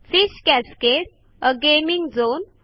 fish cascade आ gaming zone